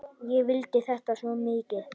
Ég vildi þetta svo mikið.